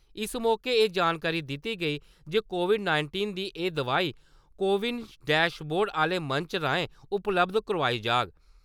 इस मौके एह् जानकारी दित्ती गेई जे कोविड-नाइटींन दी एह् दवाई 'कोविन डैशबोर्ड' आह्‌ले मंच राएं उपलब्ध करोआई जाह्ग।